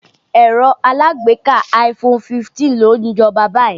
Ẹ̀rọ alágbèéká iPhone 15 ló ń jọba báyìí.